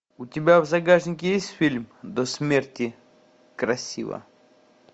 у тебя в загашнике есть фильм до смерти красива